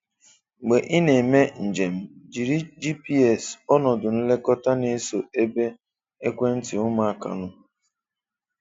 Mgbe ị na-eme njem, jiri GPS ọnọdụ nlekọta na-eso ebe ekwentị ụmụaka nọ.